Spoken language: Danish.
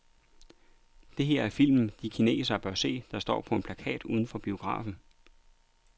Det her er filmen, alle kinesere bør se, står der på en plakat uden for biografen.